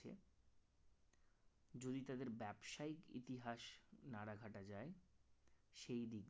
যদি তাদের ব্যবসায়িক ইতিহাস নাড়াঘাটা যায় সেই দিক দিয়ে